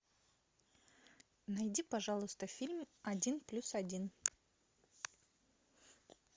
найди пожалуйста фильм один плюс один